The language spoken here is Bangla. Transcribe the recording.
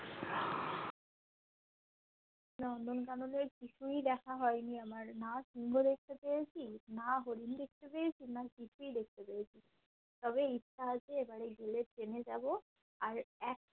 নন্দনকাননের কিছুই দেখা হয়নি আমার না সিংহ দেখতে পেয়েছি না হরিণ দেখতে পেয়েছি না কিছুই দেখতে পেয়েছি তবে ইচ্ছা আছে এবারে গেলে train এ যাবো আর এক